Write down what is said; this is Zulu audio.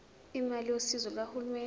imali yosizo lukahulumeni